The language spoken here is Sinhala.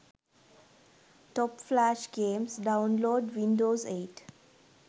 top flash games download windows 8